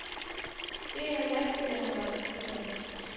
En af lastbilerne var punkteret.